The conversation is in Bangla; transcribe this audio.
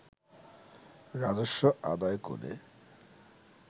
রাজস্ব আদায় করে